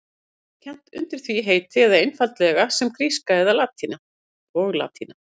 Það er ýmist kennt undir því heiti eða einfaldlega sem gríska og latína.